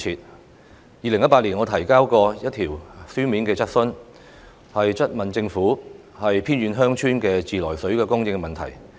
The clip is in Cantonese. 我曾在2018年提出過一項書面質詢，詢問政府有關"偏遠鄉村的自來水供應"問題。